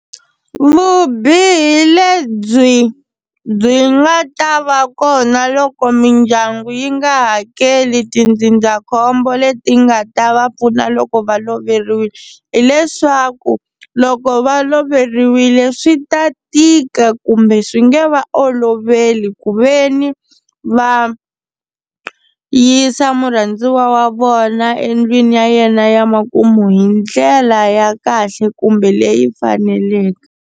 Vubihi lebyi byi nga ta va kona loko mindyangu yi nga hakeli tindzindzakhombo leti nga ta va pfuna loko va loveriwile hileswaku loko va loveriwile swi ta tika kumbe swi nge va oloveli ku ve ni va yisa murhandziwa wa vona endlwini ya yena ya makumu hi ndlela ya kahle kumbe leyi faneleke.